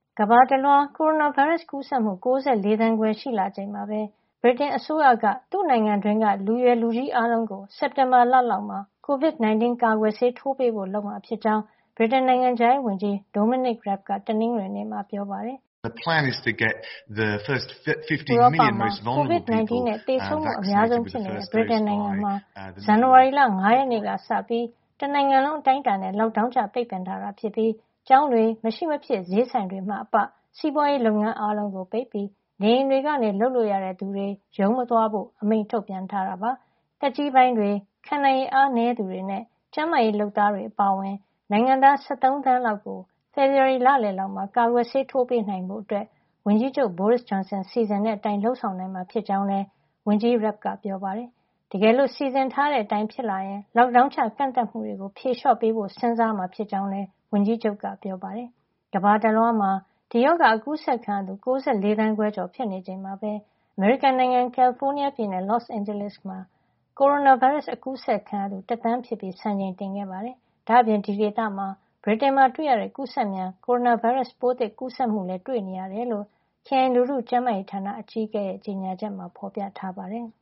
ကမ္ဘာတလွှား ကိုရိုနာဗိုင်းရပ်စ်ကူးစက်မှု ၉၄ သန်းခွဲ ရှိလာချိန်မှာပဲ ဗြိတိန်အစိုးရက သူ့နိုင်ငံတွင်းက လူရွယ်လူကြီး အားလုံးကို စက်တင်ဘာလလောက်မှာ COVID-19 ကာကွယ်ဆေးထိုးပေးဖို့ လုပ်မှာဖြစ်ကြောင်း ဗြိတိန် နိုင်ငံခြားရေးဝန်ကြီး Dominic Raab က တနင်္ဂနွေနေ့မှာ ပြောပါတယ်။ ဥရောပမှာ COVID-19 နဲ့ သေဆုံးမှုအများဆုံး ဖြစ်နေတဲ့ ဗြိတိန်နိုင်ငံမှာ ဇန်နဝါရီလ ၅ ရက်နေ့ကစပြီး တနိုင်ငံလုံး အတိုင်းအတာနဲ့ Lockdown ချ ပိတ်ပင်ထားတာဖြစ်ပြီး ကျောင်းတွေ၊ မရှိမဖြစ် ဈေးဆိုင်တွေမှအပ စီးပွားရေးလုပ်ငန်း အားလုံးကို ပိတ်ပြီး နေအိမ်တွေကနေ လုပ်လို့ရတဲ့သူတွေ ရုံးမသွားဖို့ အမိန့်ထုတ်ပြန်ထားတာပါ။ နေအိမ်တွေမှာ စောင့်ရှောက်ကုသမှု ခံယူနေသူတွေ အပါအဝင် သက်ကြီးပိုင်းတွေ၊ ခံနိုင်ရည် အားနည်းသူတွေနဲ့ ကျန်းမာရေးလုပ်သားတွေ အပါအဝင် နိုင်ငံသား ၁၃ သန်းကျော်လောက်ကို ဖေဖော်ဝါရီလလယ်လောက်မှာ ကာကွယ်ဆေး ထိုးပေးနိုင်ဖို့ ဝန်ကြီးချုပ် Boris Johnson စီစဉ်တဲ့အတိုင်း လုပ်ဆောင်နိုင်မှာ ဖြစ်ကြောင်းလည်း ဝန်ကြီး Raab က ပြောပါတယ်။ တကယ်လို့ စီစဉ်ထားတဲ့အတိုင်း ဖြစ်လာရင် Lockdown ချ ကန့်သတ်မှုတွေကို ဖြေလျှော့ပေးဖို့ပါ စဉ်းစားမှာ ဖြစ်ကြောင်းလည်း ဝန်ကြီးချုပ်က ပြောပါတယ်။ ကမ္ဘာတလွှားမှာ ဒီရောဂါ ကူးစက်ခံရသူ ၉၄ သန်းခွဲကျော် ဖြစ်နေချိန်မှာပဲ အမေရိကန်နိုင်ငံ ကယ်လီဖိုးနီးယားပြည်နယ် Los Angeles ခရိုင်မှာ ကိုရိုနာဗိုင်းရပ်စ် ကူးစက်ခံရသူ တသန်းဖြစ်သွားပြီး စံချိန်တင်ခဲ့ပါတယ်။ ဒါ့အပြင် အဲဒီဒေသမှာ ဗြိတိန်နိုင်ငံမှာ တွေ့နေရတဲ့ ကူးစက်မြန် ကိုရိုနာဗိုင်းရပ်စ်ပိုးသစ် ကူးစက်မှုလည်း တွေ့ရှိနေရတယ်လို့ ခရိုင် လူထုကျန်းမာရေးဌာန အကြီးအကဲ Dr. Barbara Ferrer ရဲ့ ကြေညာချက်မှာ ဖော်ပြထားပါတယ်။